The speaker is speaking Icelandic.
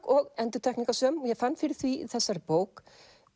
og ég fann fyrir því í þessari bók